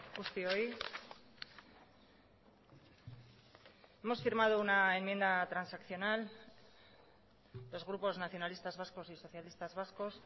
guztioi hemos firmado una enmienda transaccional los grupos nacionalistas vascos y socialistas vascos